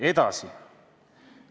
Edasi.